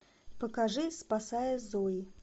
покажи спасая зои